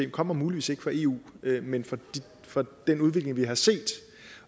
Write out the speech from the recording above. kommer muligvis ikke fra eu men fra den udvikling vi har set